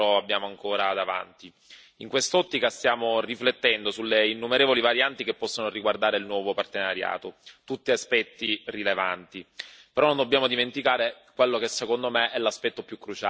In quest'ottica stiamo riflettendo sulle innumerevoli varianti che possono riguardare il nuovo partenariato, tutti aspetti rilevanti, però non dobbiamo dimenticare quello che secondo me è l'aspetto più cruciale, ossia il finanziamento.